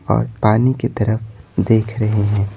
और पानी की तरफ देख रहे हैं।